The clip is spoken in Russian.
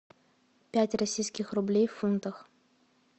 пять российских рублей в фунтах